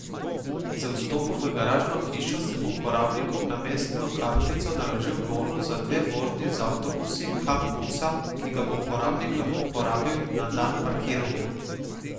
Z vstopom v garažno hišo se bo uporabnikom na mestno kartico naložil bonus za dve vožnji z avtobusi Kam Busa, ki ga bo uporabnik lahko porabil na dan parkiranja.